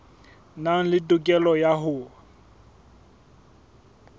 nang le tokelo ya ho